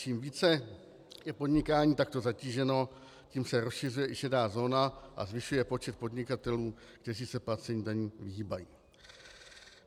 Čím více je podnikání takto zatíženo, tím se rozšiřuje i šedá zóna a zvyšuje počet podnikatelů, kteří se placení daní vyhýbají.